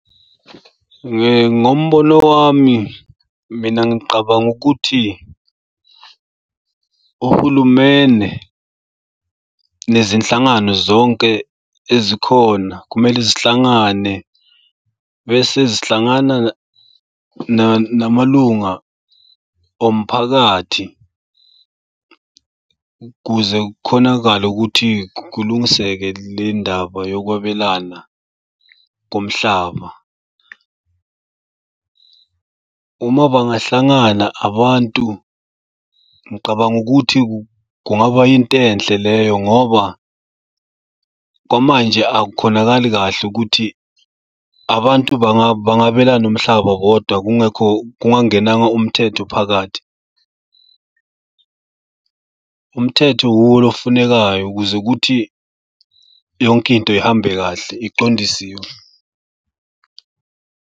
Ngombono wami mina ngiqabanga ukuthi uhulumene nezinhlangano zonke ezikhona kumele zihlangane bese zihlangana namalunga omphakathi ukuze kukhonakale ukuthi kulungiseke le ndaba yokwabelana komhlaba. Uma bangahlangana abantu ngicabanga ukuthi kungaba into enhle leyo ngoba kwamanje akukhonakali kahle ukuthi abantu bangabelani umhlaba bodwa kungekho kungangenanga umthetho phakathi. Umthetho wuwo lo ofunekayo ukuze kuthi yonke into ihambe kahle, iqondisiwe.